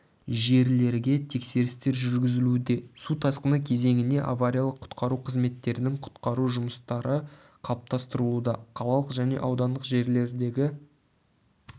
жерлерге тексерістер жүргізілуде су тасқыны кезеңіне авариялық-құтқару қызметтерінің құтқару жұмыстары қалыптастырылуда қалалық және аудандық жерлердегі